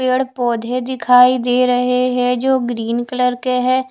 पेड़ पोधे दिखाई दे रहे है जो ग्रीन कलर है।